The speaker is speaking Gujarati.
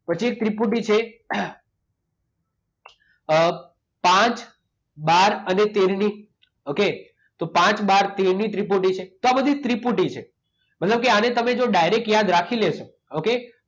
પછી એક ત્રિપુટી છે. પાંચ, બાર અને તેરની. ઓકે? તો પાંચ, બાર, તેરની ત્રિપુટી છે. તો આ બધી ત્રિપુટી છે. મતલબ કે આને જો તમે ડાયરેક્ટ યાદ રાખી લેશો ઓકે?